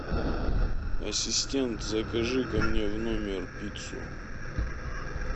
ассистент закажи ка мне в номер пиццу